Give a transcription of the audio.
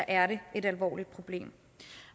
er det et alvorligt problem